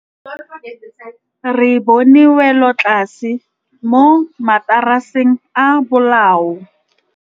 Re bone wêlôtlasê mo mataraseng a bolaô.